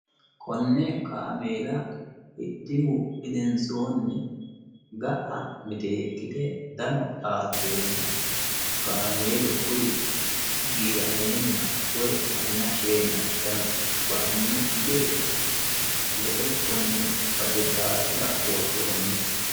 konne kaameela hidhihu gedensoonni ga'a miteekkite dano xaaddeenna qaameelu kuri giirameenna woy manna sheenna dano ba"annokki gede woxe konne cufate dhaafira worroonniho